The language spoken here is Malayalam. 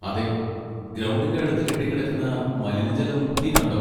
അതെ, ഗ്രൗണ്ടിന്റെ അടുത്ത് കെട്ടിക്കിടക്കുന്ന മലിനജലം നീ കണ്ടോ?